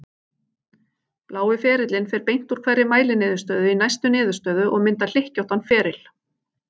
Blái ferillinn fer beint úr hverri mæliniðurstöðu í næstu niðurstöðu og myndar hlykkjóttan feril.